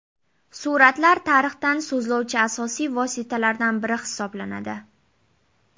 Suratlar tarixdan so‘zlovchi asosiy vositalardan biri hisoblanadi.